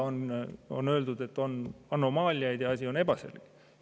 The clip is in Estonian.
On öeldud, et on anomaaliaid ja et asi on ebaselge.